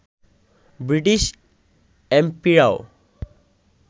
British এমপিরাও